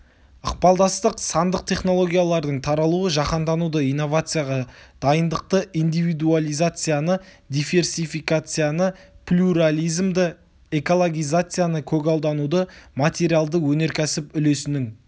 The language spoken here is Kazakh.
ықпалдастық сандық технологиялардың таралуы жаһандануды инновацияға дайындықты индивидуализацияны диверсификацияны плюрализмді экологизацияны көгалдануды материалды өнеркәсіп үлесінің